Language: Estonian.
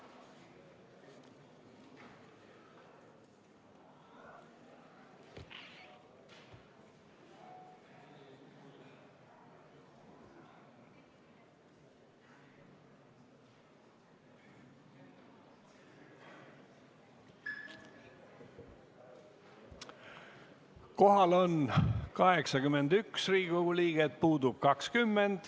Kohal on 81 Riigikogu liiget, puudub 20.